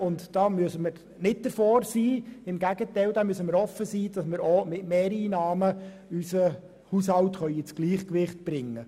Wir müssen offen dafür sein, unseren Haushalt auch mittels Mehreinnahmen ins Gleichgewicht zu bringen.